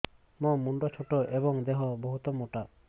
ମୋ ମୁଣ୍ଡ ଛୋଟ ଏଵଂ ଦେହ ବହୁତ ମୋଟା